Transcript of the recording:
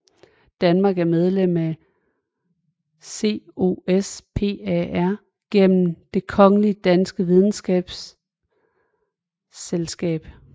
Danmark er medlem af COSPAR gennem Det Kongelige Danske Videnskabernes Selskab